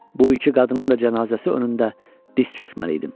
Bu iki qadının da cənazəsi önündə diz çökməliydim.